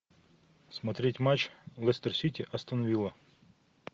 смотреть матч лестер сити астон вилла